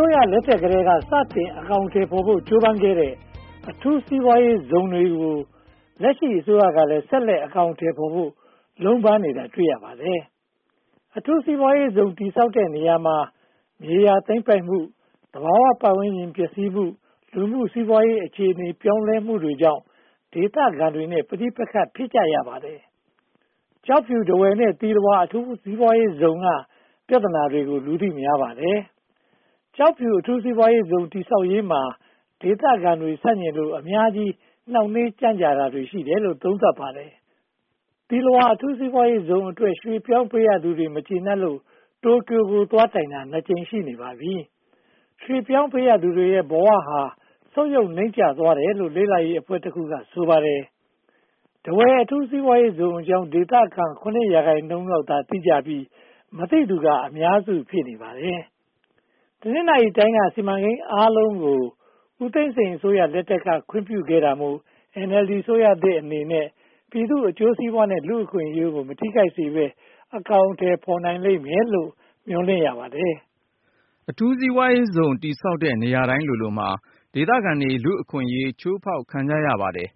ိုးရလက်ထက်ကတည်းက စတင်အကောင်အထည်ဖော်ဖို့ ကြိုးပမ်းခဲ့တဲ့ အထူးစီးပွားရေးဇုန်တွေကို လက်ရှိအစိုးရကလည်း ဆက်လက်အကောင်အထည်ဖော်ဖို့ လုံးပန်းနေတာတွေ့ရပါတယ်။ အထူးစီးပွားရေးဇုန် တည်ဆောက်တဲ့နေရာမှာ မြေယာသိမ်းပိုက်မှု၊ သဘာဝပတ်ဝန်းကျင်ပျက်စီးမှု၊ လူမှုစီးပွားရေးအခြေအနေ ပြောင်းလဲမှုတွေကြောင့် ဒေသခံတွေနဲ့ ပဋိပက္ခ ဖြစ်ကြရပါတယ်။ ကျောက်ဖြူ၊ ထားဝယ်နဲ့ သီလဝါ အထူးစီးပွားရေးဇုန်က ပြဿနာတွေကို လူသိများပါတယ်။ ကျောက်ဖြူအထူးစီးပွားရေးဇုန် တည်ဆောက်ရေးမှာ ဒေသခံတွေ ဆန့်ကျင်လို့ အများကြီး နှောင့်နှေးကြန့်ကြတာရှိတယ်လို့ သုံးသပ်ပါတယ်။ သီလဝါ အထူးစီးပွားရေးဇုန်အတွက် ရွှေ့ပြောင်းပေးရသူတွေ မကျေနပ်လို့ တိုကျိုကို သွားတိုင်တာ နှစ်ကြိမ်ရှိနေပါပြီ။ ရွှေ့ပြောင်းသူပေးရသူတွေရဲ့ ဘဝဟာ ဆုတ်ယုတ်နိမ့်ကျသွားတယ်လို့ လေ့လာရေးအဖွဲ့တခုက ဆိုပါတယ်။ ထားဝယ်အထူးစီးပွားရေးဇုန်အကြောင်း ဒေသခံ ရာခိုင်နှုန်းလောက်သာ သိကြပြီး၊ မသိသူက အများစု ဖြစ်နေပါတယ်။ တနင်္သာရီတိုင်းက စီမံကိန်းအားလုံးကို ဦးသိန်းစိန်အစိုးရလက်ထက်က ခွင့်ပြုတာမို့ NLD အစိုးရသစ်အနေနဲ့ ပြည်သူ့အကျိုးစီးပွားနဲ့ လူ့အခွင့်အရေးကို မထိခိုက်စေဘဲ အကောင်အထည် ဖော်နိုင်လိမ့်မယ်လို့ မျှော်လင့်ရပါတယ်။ အထူးစီးပွားရေးဇုန် တည်ဆောက်တဲ့ နေရာတိုင်းလိုလိုမှာ ဒေသခံတွေ လူ့အခွင့်အရေး ဖျက်ဆီးခံကြရပါတယ်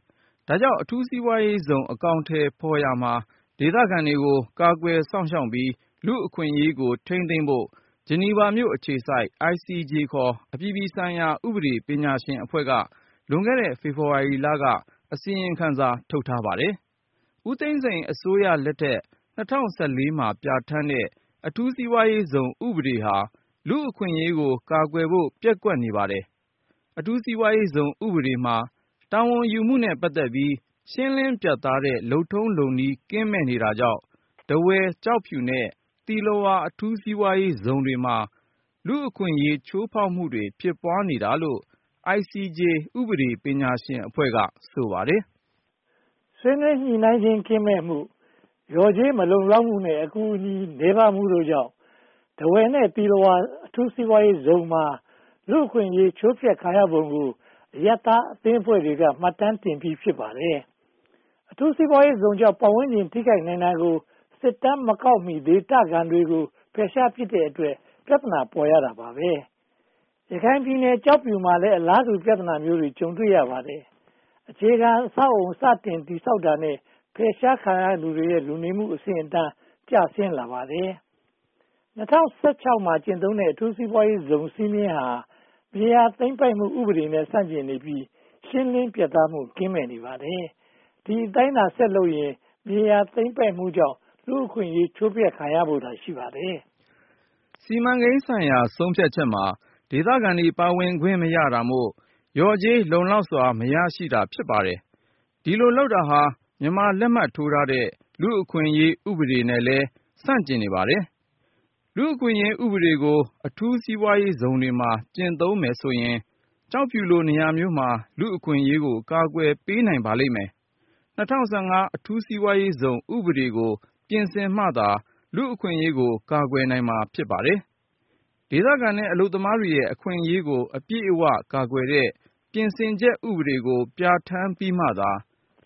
။ ဒါကြောင့် အထူးစီးပွားရေးဇုန် အကောင်အထည်ဖော်ရာမှာ ဒေသခံတွေကို ကာကွယ်စောင့်ရှောက်ပြီး လူ့အခွင့်အရေးကို ထိန်းသိမ်းဖို့ ဂျနီဗာအခြေစိုက် ICJ ခေါ် အပြည်ပြည်ဆိုင်ရာ ဥပဒေပညာရှင်အဖွဲ့က လွန်ခဲ့တဲ့ ဖေဖေါ်ဝါရီလက အစီရင်ခံစာ ထုတ်ထားပါတယ်။ ဦးသိန်းစိန်အစိုးရလက်ထက် မှာ ပြဌာန်းတဲ့ အထူးစီးပွားရေးဇုန် ဥပဒေဟာ လူ့အခွင့်အရေးကို ကာကွယ်ဖို့ ပျက်ကွက်နေပါတယ်။ အထူးစီးပွားရေးဇုန် ဥပဒေမှာ တာဝန်ယူမှုနဲ့ ပတ်သက်ပြီး ရှင်းလင်းပြတ်သားတဲ့ လုပ်ထုံးလုပ်နည်း ကင်းမဲ့နေတာကြောင့် ထားဝယ်၊ ကျောက်ဖြူ နဲ့ သီလဝါ အထူးစီးပွားရေးဇုန်တွေမှာ လူ့အခွင့်အရေး ချိုးဖျက်မှုတွေ ဖြစ်ပွားနေတာလို့ ICJ ဥပဒေပညာရှင်အဖွဲ့က ဆိုပါတယ်။ ဆွေးနွေးညှိနှိုင်းခြင်း ကင်းမဲ့မှု၊ လျော်ကြေးမလုံလောက်မှု နဲ့ အကူအညီ နည်းပါးမှုတို့ကြောင့် ထားဝယ် နဲ့ သီလဝါ အထူးစီးပွားရေးဇုန်မှာ လူ့အခွင့်အရေး ချိုးဖျက်ခံရပုံကို အရပ်သားအသင်းဖွဲ့တွေက မှတ်တမ်းတင်ပြီး ဖြစ်ပါတယ်။ အထူးစီးပွားရေးဇုန်ကြောင့် ပတ်ဝန်းကျင် ထိခိုက်နိုင်တာကို စစ်တမ်းမကောက်မီ ဒေသခံတွေကို ဖယ်ရှားပစ်တဲ့အတွက် ပြဿနာ ပေါ်ရတာပါ။ ရခိုင်ပြည်နယ် ကျောက်ဖြူမှာလည်း အလားတူ ပြဿနာမျိုးကို ကြုံတွေ့ရပါတယ်။ အခြေခံအဆောက်အအုံ စတင်တည်ဆောက်တာနဲ့ ဖယ်ရှားခံရသူတွေရဲ့ လူနေမှုအဆင့်အတန်း ကျဆင်းလာပါတယ်။ ၂၀၁၆ မှာ ကျင့်သုံးတဲ့ အထူးစီးပွားရေးဇုန် စည်းမျဉ်းဟာ မြေယာသိမ်းပိုက်မှု ဥပဒေနဲ့ ဆန့်ကျင်နေပြီး ရှင်းလင်းပြတ်သားမှု ကင်းမဲ့နေပါတယ်။ ဒီအတိုင်းသာ ဆက်လုပ်နေရင် မြေယာသိမ်းပိုက်မှုကြောင့် လူ့အခွင့်အရေး ချိုးဖျက်ခံရဖို့သာ ရှိပါတယ်။ စီမံကိန်းဆိုင်ရာ ဆုံးဖြတ်ချက်မှာ ဒေသခံတွေ ပါဝင်ခွင့်မရတာမို့ လျော်ကြေးလုံလောက်စွာ မရရှိတာ ဖြစ်ပါတယ်။ ဒီလိုလုပ်တာဟာ မြန်မာလက်မှတ်ထိုးထားတဲ့ လူ့အခွင့်အရေး ဥပဒေနဲ့လည်း ဆန့်ကျင်နေပါတယ်။ လူ့အခွင့်အရေး ဥပဒေကို အထူးစီးပွားရေးဇုန်တွေမှာ ကျင့်သုံးမယ်ဆိုရင် ကျောက်ဖြူလို နေရာမျိုးမှာ လူ့အခွင့်အရေးကို ကာကွယ်ပေးနိုင်ပါလိမ့်မယ်။ ၂၀၁၅ အထူးစီးပွားရေးဇုန် ဥပဒေကို ပြင်ဆင်မှသာ လူ့အခွင့်အရေးကို ကာကွယ်နိုင်မှာ ဖြစ်ပါတယ်။ ဒေသခံနဲ့ အလုပ်သမားတွေရဲ့ အခွင့်အရေးကို အပြည့်အဝကာကွယ်တဲ့ ပြင်ဆင်ချက်ဥပဒေကို ပြဌာန်းပြီးမှသာ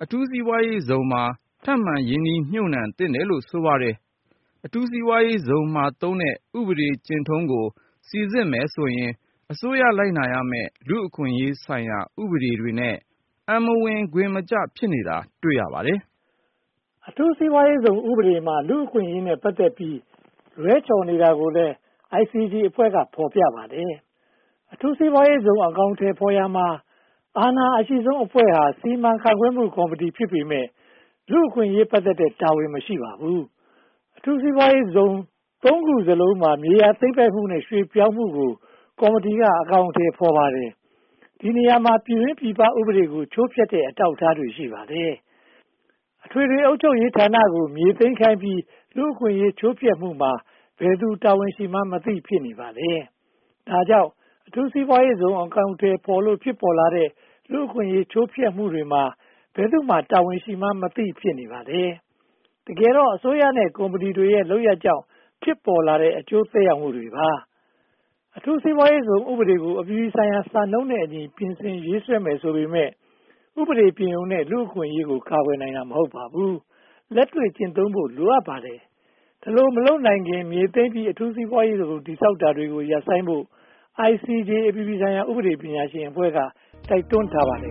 အထူးစီးပွားရေးဇုန်မှာ ထပ်မံရင်းနှီးမြုပ်နံှသင့်တယ်လို့ ဆိုပါတယ်။ အထူးစီးပွားရေးဇုန်မှာသုံးတဲ့ ဥပဒေကျင့်ထုံးကို စီစစ်မယ်ဆိုရင် အစိုးရလိုက်နာရမယ့် လူ့အခွင့်အရေးဆိုင်ရာ ဥပဒေတွေနဲ့ အံမဝင်ခွင်မကျ ဖြစ်နေတာ တွေ့ရပါတယ်။ အထူးစီးပွားရေးဇုန် ဥပဒေမှာ လူ့အခွင့်အရေးနဲ့ ပတ်သက်ပြီး လွှဲချော်နေတာကိုလည်း ICJ အဖွဲ့က ဖော်ပြပါတယ်။ အထူးစီးပွားရေးဇုန် အကောင်အထည်ဖော်ရာမှာ အာဏာအရှိဆုံးအဖွဲ့ဟာ စီမံခန့်ခွဲမှုကော်မတီ ဖြစ်ပေမယ့် လူ့အခွင့်အရေးနဲ့ ပတ်သက်တဲ့တာဝန် မရှိပါဘူး။ အထူးစီးပွားရေးဇုန် ခုစလုံးမှာ မြေယာသိမ်းပိုက်မှုနဲ့ ရွှေ့ပြောင်းမှုကို ကော်မတီက အကောင်အထည် ဖော်ပါတယ်။ ဒီနေရာမှာ ပြည်တွင်းပြည်ပ ဥပဒေတွေကို ချိုးဖျက်တဲ့ အထောက်အထားတွေ ရှိပါတယ်။ အထွေထွေ အုပ်ချုပ်ရေးဌာနကို မြေသိမ်းခိုင်းပြီး လူ့အခွင့်အရေး ချိုးဖျက်မှုမှာ ဘယ်သူတာဝန်ရှိမှန်းမသိ ဖြစ်နေပါတယ်။ ဒါကြောင့် အထူးစီးပွားရေးဇုန် အကောင်အထည်ဖော်လို့ ဖြစ်ပေါ်လာတဲ့ လူ့အခွင့်အရေး ချိုးဖျက်မှုတွေမှာ ဘယ်သူမှာ တာဝန်ရှိမှန်းမသိ ဖြစ်နေပါတယ်။ တကယ်တော့ အစိုးရနဲ့ ကုမ္ပဏီတွေရဲ့ လုပ်ရပ်ကြောင့် ဖြစ်ပေါ်လာတဲ့ အကျိုးသက်ရောက်မှုတွေပါ။ အထူးစီးပွားရေးဇုန်ဥပဒေကို အပြည်ပြည်ဆိုင်ရာ စံနှုန်းနဲ့အညီ ပြင်ဆင်ရေးဆွဲရမယ် ဆိုပေမယ့် ဥပဒေပြင်ရုံနဲ့ လူ့အခွင့်အရေး ကာကွယ်နိုင်တာ မဟုတ်ပါဘူး။ လက်တွေ့ကျင့်သုံးဖို့ လိုအပ်ပါတယ်။ ဒီလို မလုပ်နိုင်ခင်မှာ မြေသိမ်းပြီး အထူးစီးပွားရေးဇုန် တည်ဆောက်တာတွေ ရပ်ဆိုင်းဖို့ ICJ အပြည်ပြည်ဆိုင်ရာ ဥပဒေပညာရှင်အဖွဲ့က တိုက်တွန်းထားပါတယ်